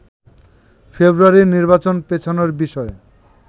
ফেব্রুয়ারির নির্বাচন পেছানোর বিষয়ে